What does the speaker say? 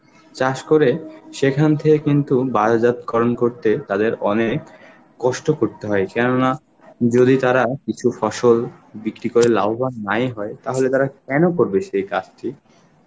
চাষ করে সেখান থেকে কিন্তু বায়োজাত করণ করতে তাদের অনেক কষ্ট করতে হয় কেননা যদি তারা কিছু ফসল বিক্রি করে লাভবান নাই হয় তাহলে তারা কেন করবে সেই কাজটি?